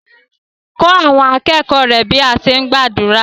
Kọ́ àwọn akẹ́kọ̀ọ́ rẹ bí à á ti gbàdúrà.